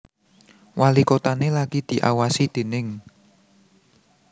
Walikotané lagi diawasi déning